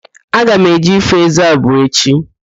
Aga m eje ifo ézé abụọ echi